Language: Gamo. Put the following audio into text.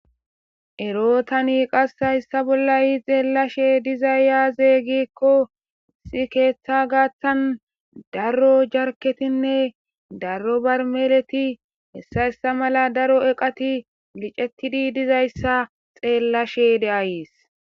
Ero tani hayssa bolla xeelashe dizay aaze giikko issi keetha gaathan daro garkettinne daro barmeeleti hessa hessa malati daro eqati licettidi dizayssa xeellashe de7ays.